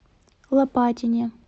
лопатине